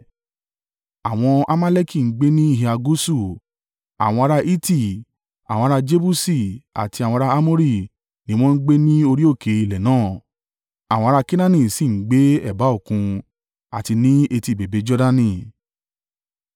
Àwọn Amaleki ń gbé ní ìhà gúúsù; àwọn ará Hiti, àwọn ará Jebusi àti àwọn ará Amori ni wọ́n ń gbé ní orí òkè ilẹ̀ náà, àwọn ará Kenaani sì ń gbé ẹ̀bá òkun àti ní etí bèbè Jordani.”